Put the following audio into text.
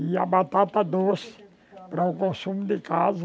E a batata doce, para o consumo de casa.